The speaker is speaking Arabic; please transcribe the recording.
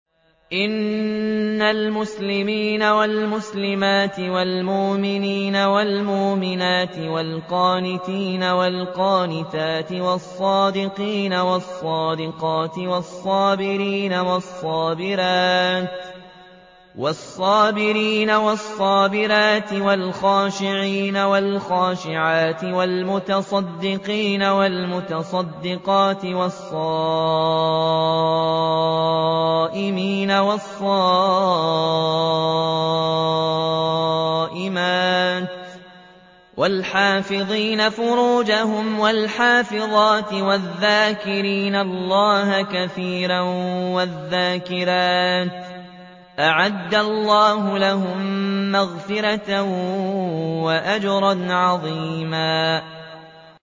إِنَّ الْمُسْلِمِينَ وَالْمُسْلِمَاتِ وَالْمُؤْمِنِينَ وَالْمُؤْمِنَاتِ وَالْقَانِتِينَ وَالْقَانِتَاتِ وَالصَّادِقِينَ وَالصَّادِقَاتِ وَالصَّابِرِينَ وَالصَّابِرَاتِ وَالْخَاشِعِينَ وَالْخَاشِعَاتِ وَالْمُتَصَدِّقِينَ وَالْمُتَصَدِّقَاتِ وَالصَّائِمِينَ وَالصَّائِمَاتِ وَالْحَافِظِينَ فُرُوجَهُمْ وَالْحَافِظَاتِ وَالذَّاكِرِينَ اللَّهَ كَثِيرًا وَالذَّاكِرَاتِ أَعَدَّ اللَّهُ لَهُم مَّغْفِرَةً وَأَجْرًا عَظِيمًا